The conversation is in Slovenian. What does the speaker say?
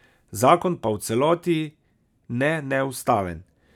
Zakon pa v celoti ne neustaven.